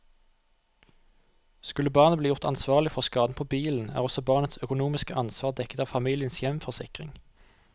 Skulle barnet bli gjort ansvarlig for skaden på bilen, er også barnets økonomiske ansvar dekket av familiens hjemforsikring.